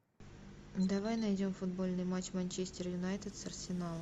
давай найдем футбольный матч манчестер юнайтед с арсеналом